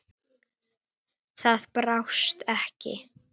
Það brást ekki.